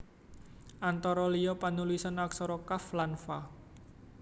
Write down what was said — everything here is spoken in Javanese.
Antara liya panulisan aksara qaf lan fa